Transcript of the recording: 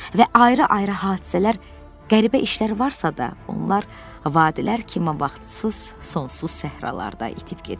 Və ayrı-ayrı hadisələr, qəribə işlər varsa da, onlar vadilər kimi vaxtsız, sonsuz səhralarda itib gediblər.